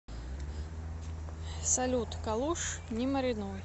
салют калуш не маринуй